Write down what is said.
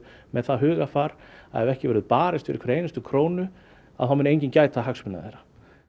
með það hugarfar að ef ekki verður barist fyrir hverri einustu krónu þá muni enginn gæta hagsmuna þeirra